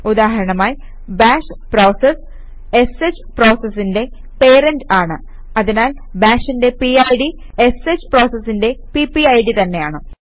ഉദാഹരണമായി bash process sh പ്രോസസിന്റെ parent ആണ് അതിനാൽ ബാഷിന്റെ പിഡ് ഷ് പ്രോസസിന്റെ പിപിഡ് തന്നെയാണ്